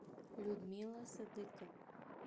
людмила садыкова